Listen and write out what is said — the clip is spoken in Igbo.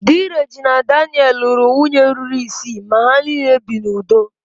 Dị Regina Daniel's lụrụ nwunye ruru isii ma ha niile bi n'udo